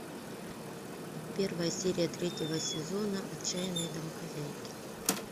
первая серия третьего сезона отчаянные домохозяйки